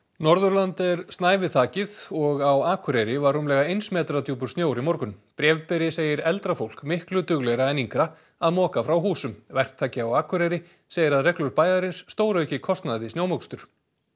Norðurland er snævi þakið og á Akureyri var rúmlega eins metra djúpur snjór í morgun bréfberi segir eldra fólk miklu duglegra en yngra að moka frá húsum verktaki á Akureyri segir að reglur bæjarins stórauki kostnað við snjómokstur